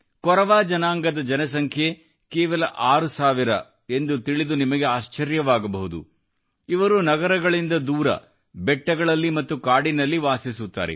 ಕೊರವಾ ಜನಾಂಗದ ಜನಸಂಖ್ಯೆ ಕೇವಲ 6000 ಎಂದು ತಿಳಿದು ನಿಮಗೆ ಆಶ್ಚರ್ಯವಾಗಬಹುದು ಇವರು ನಗರಗಳಿಂದ ದೂರ ಬೆಟ್ಟಗಳಲ್ಲಿ ಮತ್ತು ಕಾಡಿನಲ್ಲಿ ವಾಸಿಸುತ್ತಾರೆ